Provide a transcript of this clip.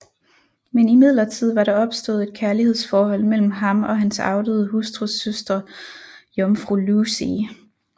Men imidlertid var der opstået et kærlighedsforhold mellem ham og hans afdøde hustrus søster jomfru Lucie